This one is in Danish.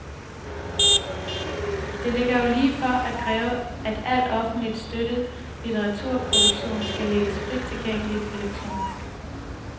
Det ligger jo lige for at kræve, at al offentligt støttet litteraturproduktion skal lægges frit tilgængeligt elektronisk.